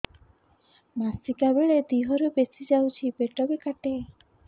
ମାସିକା ବେଳେ ଦିହରୁ ବେଶି ଯାଉଛି ପେଟ ବି କାଟେ